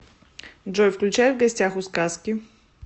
джой включай в гостях у сказки